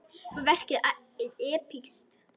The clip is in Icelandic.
Var verkið epískt?